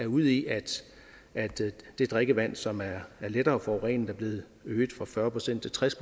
ude i at det drikkevand som er lettere forurenet er blevet øget fra fyrre procent til tres